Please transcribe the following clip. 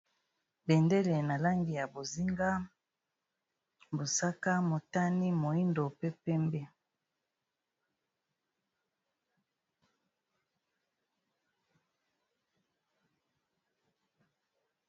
Bendele na langi ya bozinga, mosaka, motane, moyindo pe pembe.